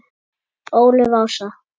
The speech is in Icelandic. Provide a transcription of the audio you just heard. Ólöf Ása.